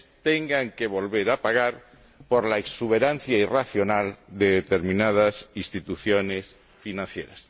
tengan que volver a pagar por la exuberancia irracional de determinadas instituciones financieras.